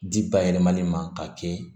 Di bayɛlɛmali ma k'a kɛ